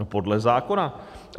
No podle zákona.